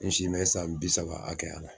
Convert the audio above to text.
N si bɛ san bi saba hakɛya la.